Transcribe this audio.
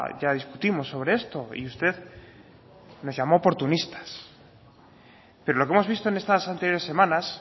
ya discutimos sobre esto y usted nos llamó oportunistas pero lo que hemos visto en estas anteriores semanas